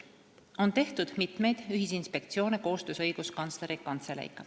On tehtud ka mitmeid ühisinspektsioone koostöös Õiguskantsleri Kantseleiga.